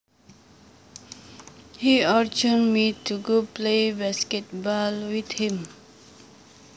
He urged me to go play basketball with him